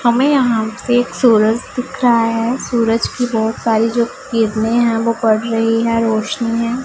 हमें यहां से सूरज दिख रहा है। सूरज की बहुत सारी जो किरणें है वो पड़ रही है रोशनी है।